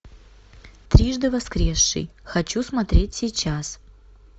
трижды воскресший хочу смотреть сейчас